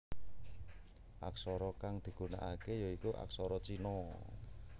Aksara kang digunakake ya iku aksara Cina